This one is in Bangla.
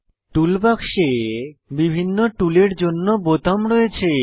টুলবাক্সে বিভিন্ন টুলের জন্য বোতাম রয়েছে